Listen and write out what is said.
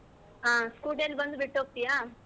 ಹಾ scooty ಅಲ್ಲಿ ಬಂದು ಬಿಟ್ಟು ಹೋಗ್ತಿಯ.